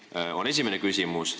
See on esimene küsimus.